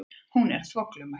Hún er þvoglumælt.